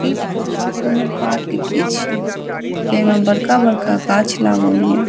इ फोटो कोनो पार्क के छीये जेमे बड़का-बड़का गाँछ लागलये।